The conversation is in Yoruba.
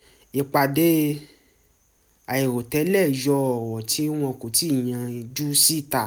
ìpàdé àìròtẹ́lẹ̀ yọ ọ̀rọ̀ tí wọn kò tíì yanjú síta